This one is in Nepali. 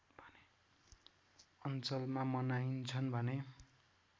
अञ्चलमा मनाइन्छन् भने